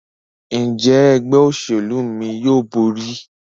Njé Ẹgbẹ́ òṣèlú mí yóò bóri?